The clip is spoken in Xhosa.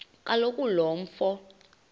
kaloku lo mfo